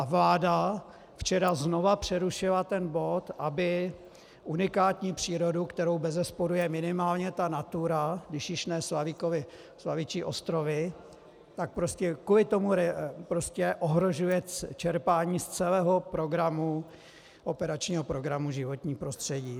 A vláda včera znovu přerušila ten bod, aby unikátní přírodu, kterou bezesporu je minimálně ta Natura, když již ne Slavičí ostrovy, tak prostě kvůli tomu ohrožuje čerpání z celého operačního programu Životní prostředí.